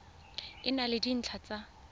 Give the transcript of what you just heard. e na le dintlha tsa